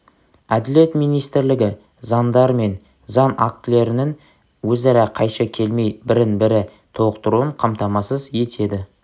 әділет министрлігі заңдар мен заң актілерінің өзара қайшы келмей бірін-бірі толықтыруын қамтамасыз етеді